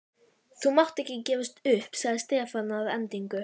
Þú mátt ekki gefast upp sagði Stefán að endingu.